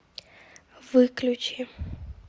выключи